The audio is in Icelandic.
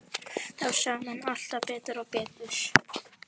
Það sáu menn alltaf betur og betur.